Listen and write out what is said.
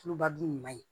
Tulubadu ɲuman ye